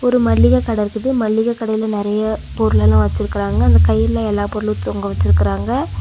ஒரு மள்ளிக கட இருக்குது மள்ளிக கடைல நெறைய பொருள்லெல்லா வச்சுருக்குறாங்க அந்த கயிறுல எல்லா பொருளும் தொங்க வச்சுருக்குறாங்க.